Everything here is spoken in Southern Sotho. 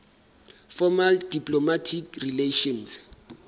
formal diplomatic relations